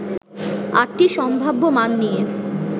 ৮টি সম্ভাব্য মান নিয়ে